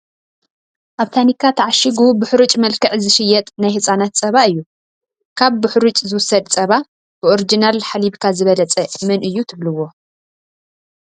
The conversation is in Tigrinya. ኣብ ታኒካ ተዓሺጉ ብሕሩጭ መልክዕ ዝሽየጥ ናይ ህፃናት ፀባ እዩ፡፡ ካብ ብሕሩጭ ዝውሰድ ፀባ ብኦርጅናል ሓሊብካ ዝበለፀ መን እዩ ትብልዎ?